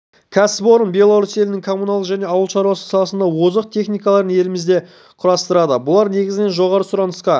кәсіпорын беларусь елінің коммуналдық және ауыл шаруашылығы саласының озық техникаларын елімізде құрастырады бұлар негізінен жоғары сұранысқа